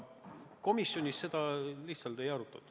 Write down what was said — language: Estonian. Komisjonis seda lihtsalt ei arutatud.